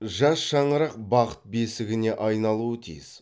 жас шаңырақ бақыт бесігіне айналуы тиіс